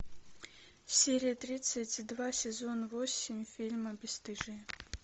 серия тридцать два сезон восемь фильма бесстыжие